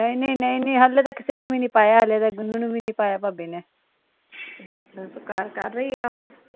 ਨਹੀਂ ਨਹੀਂ, ਨਹੀਂ ਨਹੀਂ ਹਲੇ ਤਾ ਕਿਸੇ ਨੂੰ ਵੀ ਨਹੀਂ ਪਾਇਆ ਹਲੇ ਤਾ ਗੁਨੂੰ ਨੂੰ ਵੀ ਨਹੀਂ ਪਾਇਆ ਭਾਬੀ ਨੇ